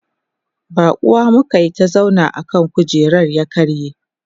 baƙuwa muka Yi ta zauna akan kujerar ya karye